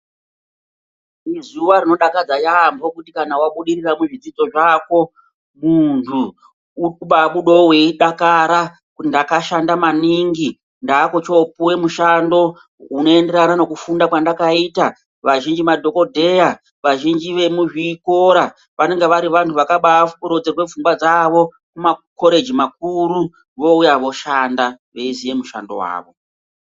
Izuva rinodakadza yaampo kuti kana vabudirira muzvidzidzo zvakwo, mundhu urikubaabudewo weidakara kuti ndakashanda maningi ndakuchiopiwe mushando unoenderana nekufunda kwandakaita vazhinji madhokodheya, vazhinji vemuzvikora vanenga vari vandhu vakaba rodzerwa pfungwa dzawo mumakoreji makuru wouya woshanda weiziya mushando wawo.